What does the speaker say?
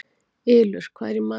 Ylur, hvað er í matinn?